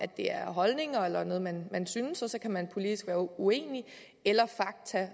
det er holdninger eller noget man synes og så kan man politisk være uenig eller